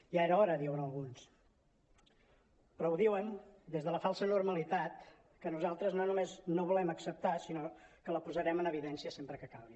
ja era hora diuen alguns però ho diuen des de la falsa normalitat que nosaltres no només no volem acceptar sinó que la posarem en evidència sempre que calgui